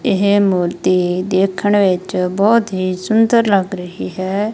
ਇਹ ਮੂਰਤੀ ਦੇਖਣ ਵਿੱਚ ਬਹੁਤ ਹੀ ਸੁੰਦਰ ਲੱਗ ਰਹੀ ਹੈ।